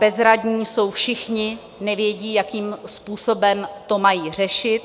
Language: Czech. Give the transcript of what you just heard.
Bezradní jsou všichni, nevědí, jakým způsobem to mají řešit.